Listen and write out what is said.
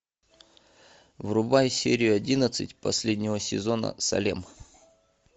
врубай серию одиннадцать последнего сезона салем